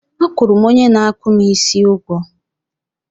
A kwụrụ m onye na-akpụ m isi ụgwọ